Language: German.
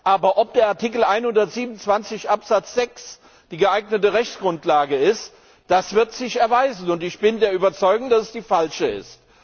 Aber ob der Artikel 127 Absatz 6 die geeignete Rechtsgrundlage ist, wird sich erweisen, und ich bin der Überzeugung, dass es die falsche ist.